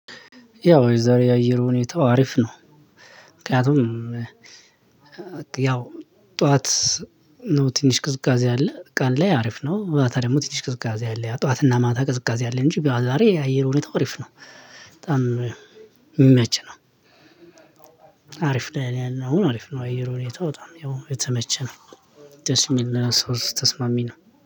ያው የዛሬ የአየር ሁኔታው ሀሪፍ ነው። ምክንያቱም ያው ጠዋት ነው ትንሽ ቅዝቃዜ አለ ቀን ላይ አሪፍ ነው ማታ ደግሞ ትንሽ ቅዝቃዜ አለ ያ ጠዋትና ማታ ቅዝቃዜ አለ እንጂ ቢያወጣሪ አየር ሁኔታ አሪፍ ነው በጣም የሚመች ነው። አሪፍ ላይ ነው አሪፍ ነው አየሩን የተወጣው ያው የተመቸ ነው። ደስ የሚል ለሰው ልጅ ተስማሚ ነው።